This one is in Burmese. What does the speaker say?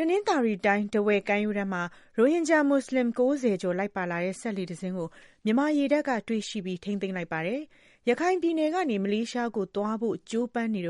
တနင်္သာရီတိုင်း ထားဝယ်ကမ်းရိုးတန်းမှာ ရိုဟင်ဂျာမူဆလင် ၉၀ ကျော် လိုက်ပါလာတဲ့ စက်လှေတစင်းကို မြန်မာရေတပ်က တွေ့ရှိပြီး ထိန်းသိမ်းလိုက်ပါတယ်။ ရခိုင်ပြည်နယ်ကနေ မလေးရှားကိုသွားဖို့ ကြိုးပမ်းစဉ်